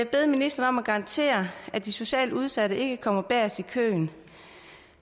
bede ministeren om at garantere at de socialt udsatte ikke kommer bagest i køen